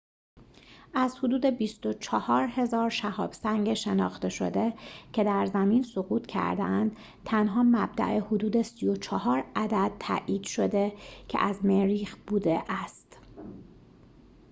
از حدود ۲۴۰۰۰ شهاب سنگ شناخته شده که در زمین سقوط کرده‌اند تنها مبدأ حدود ۳۴ عدد تائید شده که از مریخ بوده است